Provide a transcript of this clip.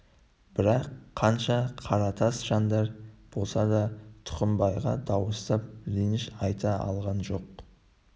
бірақ қанша қаратас жандар болса да тұқымбайға дауыстап реніш айта алған жоқ